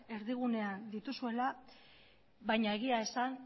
erdigunean dituzuela baina egia esan